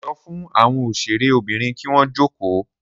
Sọ fún àwọn òṣèré Obìnrin kín wọn joko